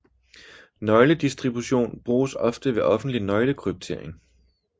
Nøgledistribution bruges ofte ved offentlig nøgle kryptering